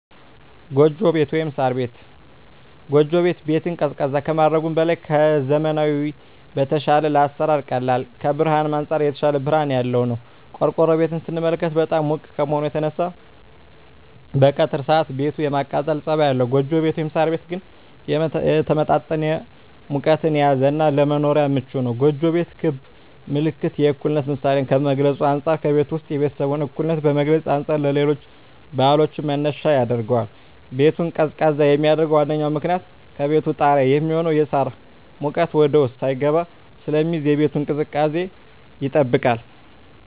ጎጆ ቤት(ሳር ቤት)። ጎጆ ቤት ቤትን ቀዝቃዛ ከማድረጉም በላይ ከዘመናዊዉ በተሻለ ለአሰራር ቀላል ከብርሀንም አንፃር የተሻለ ብርሀን ያለዉ ነዉ። ቆርቆሮ ቤትን ስንመለከት በጣም ሙቅ ከመሆኑ የተነሳ በቀትር ሰአት ቤቱ የማቃጠል ፀባይ አለዉ ጎጆ ቤት (ሳር ቤት) ግን የተመጣጠነ ሙቀትን የያዘ እና ለመኖርም ምቹ ነዉ። ጎጆ ቤት ክብ ምልክት የእኩልነት ምሳሌን ከመግልፁ አንፃ ከቤቱ ዉስጥ የቤተሰቡን እኩልነት ከመግለፅ አንፃር ለሌሎች ባህሎችም መነሻ ያደርገዋል። ቤቱን ቀዝቃዛ የሚያደርገዉ ዋነኛዉ ምክንያት ከቤቱ ጣሪያ የሚሆነዉ የሳር ሙቀት ወደዉስጥ ሳይስገባ ስለሚይዝ የቤቱን ቅዝቃዜ ይጠብቃል።